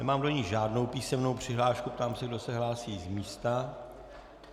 Nemám do ní žádnou písemnou přihlášku, ptám se, kdo se hlásí z místa.